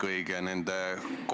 Aitäh!